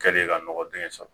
Kɛlen ka nɔgɔ dengɛ sɔrɔ